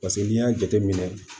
Paseke n'i y'a jateminɛ